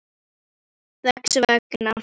Þess vegna þekkti ég hana ekki strax.